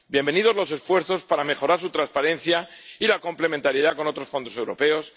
Bienvenidos los esfuerzos para mejorar su transparencia y la complementariedad con otros fondos europeos.